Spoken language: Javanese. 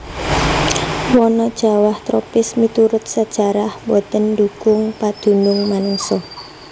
Wana jawah tropis miturut sajarah boten ndhukung padunung manungsa